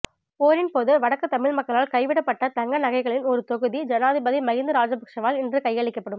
போரின் போது வடக்கு தமிழ் மக்களால் கைவிடப்பட்ட தங்க நகைகளின் ஒரு தொகுதி ஜனாதிபதி மகிந்த ராஜபக்சவால் இன்று கையளிக்கப்படும்